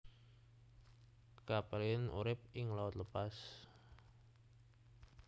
Capelin urip ing laut lepas